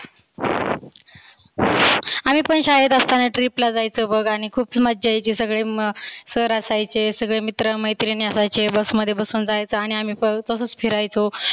आम्ही पण शाळेत असताना trip ला आयचो बघ आणि खुप मजा यायची सगळे म sir असायचे सगळे मित्र मैत्रीन असायचे bus मध्ये बसून जायच आणि आम्ही तसच फिरायचो.